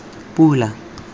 pula